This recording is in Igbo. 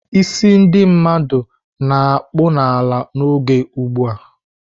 "Ísí ndị mmadụ na-akpụ n'ala n'oge ugbu a!"